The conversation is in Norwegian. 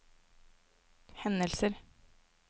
hendelser